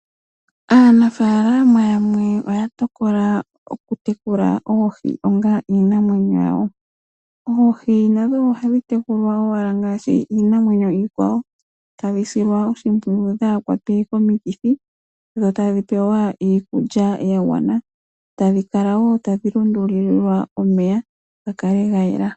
Aanafaalama yamwe oya tokola okutekula oohi onga iinamwenyo yawo. Oohi nadho ohadhi tekulwa owala ngaashi iinamwenyo iikwawo. Ohadhi silwa oshimpwiyu dhaahakwatwe komikithi dhotadhipewa iikulya yagwana. Dho tadhi kala wo tadhi lundululilwa omeya opo gakale gayela.